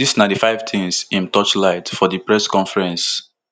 dis na di five tins im torchlight for di press conference